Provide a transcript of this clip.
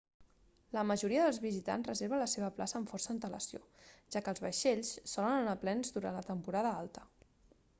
la majoria dels visitants reserva la seva plaça amb força antelació ja que els vaixells solen anar plens durant la temporada alta